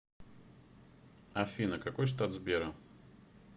афина какой штат сбера